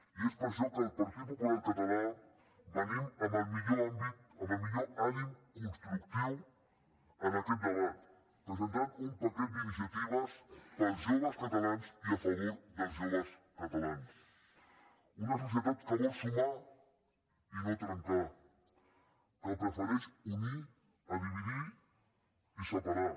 i és per això que el partit popular català venim amb el millor ànim constructiu a aquest debat presentant un paquet d’iniciatives per als joves catalans i a favor dels joves catalans una societat que vol sumar i no trencar que prefereix unir a dividir i separar